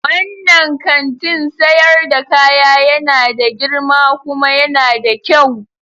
Wannan kantin sayar da kaya yana da girma kuma yana da kyau.